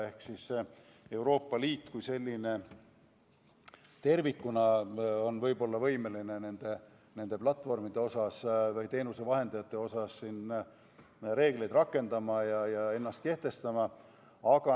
Ehk Euroopa Liit kui selline tervikuna on võib-olla võimeline nende platvormide või teenusevahendajate suhtes reegleid rakendama ja ennast kehtestama.